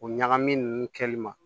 O ɲagami nunnu kɛli ma